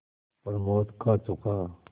प्रमोद खा चुका